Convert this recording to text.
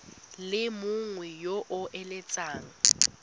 le mongwe yo o eletsang